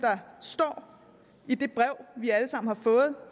står i det brev vi alle sammen har fået